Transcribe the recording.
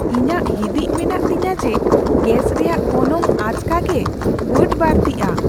ᱤᱧᱟᱹᱜ ᱦᱤᱫᱤᱡ ᱢᱮᱱᱟᱜ ᱛᱤᱧᱟᱹ ᱡᱮ ᱜᱮᱥ ᱨᱮᱭᱟᱜ ᱜᱚᱱᱚᱝ ᱟᱪᱠᱟᱜᱮ ᱵᱟᱹᱰᱼᱵᱟᱹᱲᱛᱤᱜᱼᱟ ᱾